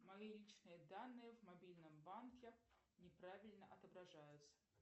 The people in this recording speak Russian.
мои личные данные в мобильном банке не правильно отображаются